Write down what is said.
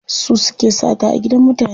Su suke sata a gidan mutane.